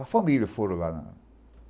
A família foram lá.